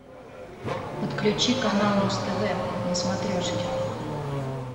подключи канал муз тв на смотрешке